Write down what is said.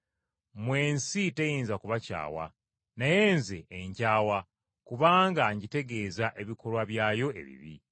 Mmwe ensi teyinza kubakyawa, naye Nze enkyawa kubanga ngitegeeza ebikolwa byayo ebibi.